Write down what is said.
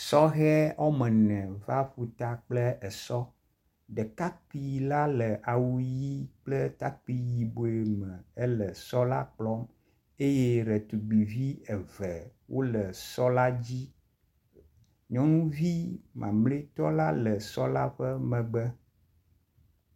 Sɔhe woame ene va ƒuta kple esɔ, ɖekakpui la le awu ʋɛ̃ kple takpui yibɔe me le sɔ la kplɔm. eye ɖetugbuivi eve wole sɔ la dzi. Nyɔnuvi mamlɛtɔ la le sɔ la ƒe megbe.